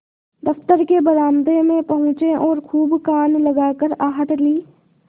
दफ्तर के बरामदे में पहुँचे और खूब कान लगाकर आहट ली